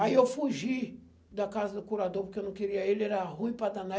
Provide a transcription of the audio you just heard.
Aí eu fugi da casa do curador, porque eu não queria ele, era ruim para danar.